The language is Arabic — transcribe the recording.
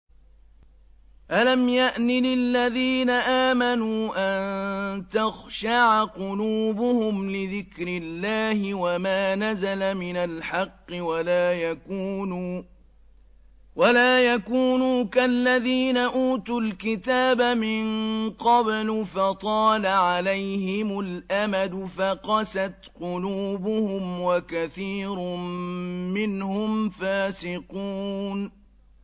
۞ أَلَمْ يَأْنِ لِلَّذِينَ آمَنُوا أَن تَخْشَعَ قُلُوبُهُمْ لِذِكْرِ اللَّهِ وَمَا نَزَلَ مِنَ الْحَقِّ وَلَا يَكُونُوا كَالَّذِينَ أُوتُوا الْكِتَابَ مِن قَبْلُ فَطَالَ عَلَيْهِمُ الْأَمَدُ فَقَسَتْ قُلُوبُهُمْ ۖ وَكَثِيرٌ مِّنْهُمْ فَاسِقُونَ